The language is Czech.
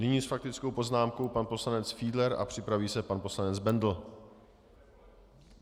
Nyní s faktickou poznámkou pan poslanec Fiedler a připraví se pan poslanec Bendl.